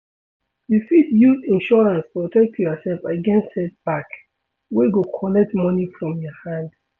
You fit use insurance protect yourself against setback, wey go collect money from your hand